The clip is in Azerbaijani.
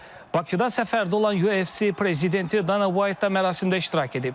Bakıda səfərdə olan UFC prezidenti Dana White da mərasimdə iştirak edib.